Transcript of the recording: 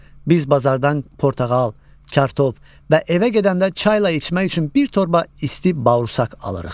Biz bazardan portağal, kartof və evə gedəndə çayla içmək üçün bir torba isti bauırsaq alırıq.